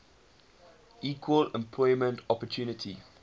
equal employment opportunity